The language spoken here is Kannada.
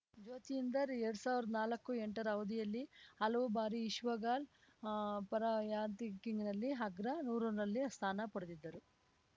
ಜ್ಯೋತಿಂದರ್‌ ಎರಡ್ ಸಾವ್ರ್ದಾ ನಾಕುಎಂಟರ ಅವಧಿಯಲ್ಲಿ ಹಲವು ಬಾರಿ ವಿಶ್ವ ಗಾಲ್ಪ್ ಅಪರ ರಾರ‍ಯಂಕಿಂಗ್‌ನಲ್ಲಿ ಅಗ್ರ ನೂರಾರಲ್ಲಿ ಸ್ಥಾನ ಪಡೆದಿದ್ದರು